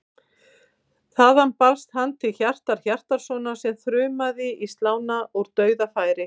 Þaðan barst hann til Hjartar Hjartarsonar sem þrumaði í slána úr dauðafæri.